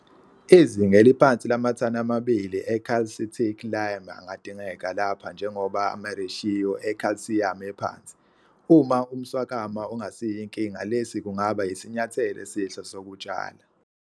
Izinga eliphansi lamathani amabili ecalcitic lime angadingeka lapha njengoba amareshiyo ekhalsiyamu ephansi. Uma umswakama ungasiyo inkinga lesi kungaba yisinyathelo esihle sokutshala.